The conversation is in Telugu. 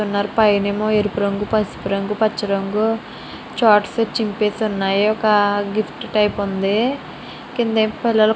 పైనఏమో ఎరుపు రంగు పుసుపు రంగు పచ్చ రంగు షాట్ పిచ్చింగ్ ఉన్నాయి ఒక గిఫ్ట్ టైపు ఉంది. కింద ఏమో పిల్లలు --